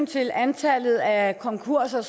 til antallet af konkurser